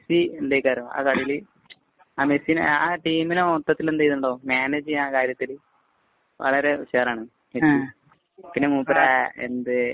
മെസ്സിനെ ആ ടീമിനെ മൊത്തത്തില്‍ എന്ത് ചെയ്യുന്നുണ്ടാവും മാനേജ് ചെയ്യുന്ന കാര്യത്തില്‍ വളരെ കെയര്‍ ആണ്. പിന്നെ മൂപ്പര് എന്തേ